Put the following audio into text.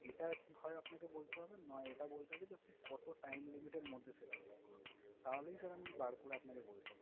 এটা হয় আপনাকে বলতে হবে, নয় এটা বলতে হবে যে কতো time limit এর মধ্যে সেটা শোধ করবেন। তাহলেই sir আমি বার করে আপনাকে বলতাম।